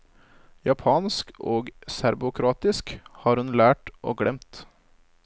Japansk og serbokroatisk har hun lært og glemt.